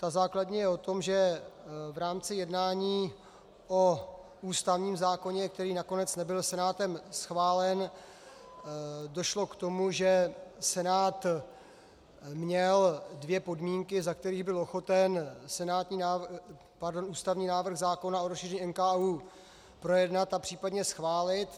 Ta základní je o tom, že v rámci jednání o ústavním zákoně, který nakonec nebyl Senátem schválen, došlo k tomu, že Senát měl dvě podmínky, za kterých byl ochoten ústavní návrh zákona o rozšíření NKÚ projednat a případně schválit.